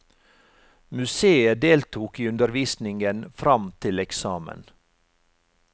Museet deltok i undervisningen fram til eksamen.